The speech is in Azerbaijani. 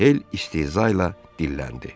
Hel istehza ilə dilləndi.